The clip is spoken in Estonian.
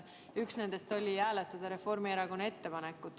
Üks nendest oli hääletada Reformierakonna ettepanekut.